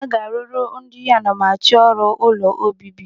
Aga a rụrụ ndị anamachọrụ ụlọ obibi.